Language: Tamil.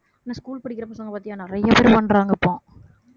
ஹம் இந்த school படிக்கிற பசங்க பார்த்தியா நிறைய பேர் பண்றாங்க இப்போ